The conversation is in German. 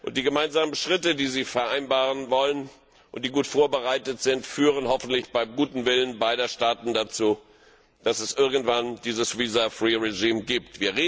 Die gemeinsamen Schritte, die sie vereinbaren wollen und die gut vorbereitet sind, führen hoffentlich bei gutem Willen beider Staaten dazu, dass es irgendwann diese Regelung für visumfreies Reisen gibt.